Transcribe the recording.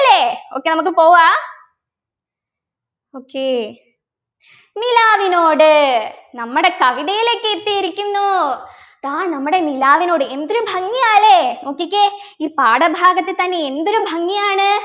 ല്ലേ okay നമുക്ക് പോകാ okay നിലാവിനോട് നമ്മടെ കവിതയിലേക്ക് എത്തിയിരിക്കുന്നു ഇതാ നമ്മുടെ നിലാവിനോട് എന്തൊരു ഭംഗി യാ ല്ലേ നോക്കിക്കേ ഈ പാഠഭാഗത്തു തന്നെ എന്തൊരു ഭംഗിയാണ്